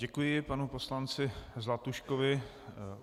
Děkuji panu poslanci Zlatuškovi.